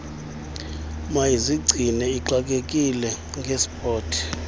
mayizigcine ixakekile ngesport